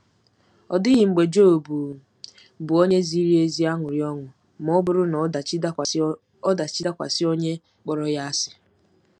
Ọ dịghị mgbe Job bụ́ onye ziri ezi aṅụrị ọṅụ ma ọ bụrụ na ọdachi dakwasị ọdachi dakwasị onye kpọrọ ya asị.